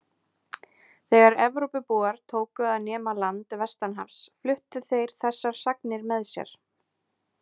Þegar Evrópubúar tóku að nema land vestanhafs fluttu þeir þessar sagnir með sér.